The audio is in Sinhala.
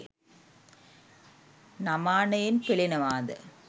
නමානයෙන් පෙලෙනවා ද?